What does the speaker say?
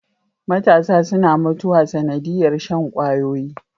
Matasa suna mutuwa sanadiyar Shan kwayoyi